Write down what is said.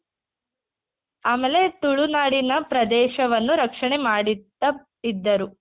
ಆಮೇಲೆ ತುಳುನಾಡಿನ ಪ್ರದೇಶವನ್ನು ರಕ್ಷಣೆ ಮಾಡುತ್ತಾ ಇದ್ದರು .